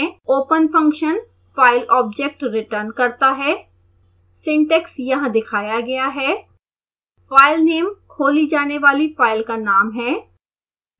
open function file object return करता है